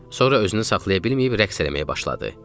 Sonra özünü saxlaya bilməyib rəqs eləməyə başladı.